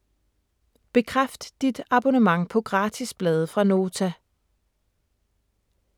Bekræft dit abonnement på gratis blade fra Nota